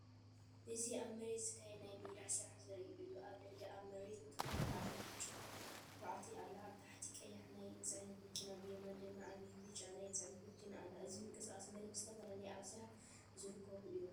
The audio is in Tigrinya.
እዚ ኣብ መሬት ዝካየድ ናይ ሜዳ ስራሕ ዘርኢ እዩ። ኣብ ላዕሊ ኣብ መሬት ትዅዕት ዓባይብጫ ኳዕቲ ኣላ። ኣብ ታሕቲ ቀያሕናይ ጽዕነት መኪና ብየማን ድማ ዓባይብጫ ናይ ጽዕነት መኪና ኣላ። እዚ ምንቅስቓስ መሬት ብዝተፈላለየ ኣብ ስራሕ ዝርከቡን እዮም።